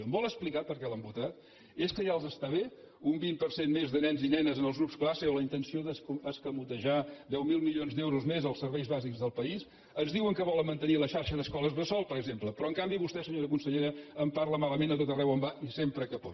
em vol explicar per què l’han votat és que ja els està bé un vint per cent més de nens i nenes en els grups classe o la intenció d’escamotejar deu mil milions d’euros més als serveis bàsics del país ens diuen que volen mantenir la xarxa d’escoles bressol per exemple però en canvi vostè senyora consellera en parla malament a tot arreu on va i sempre que pot